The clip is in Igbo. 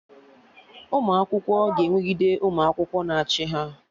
Ụmụ akwụkwọ ga-enwegide ụmụ akwụkwọ na-achị ha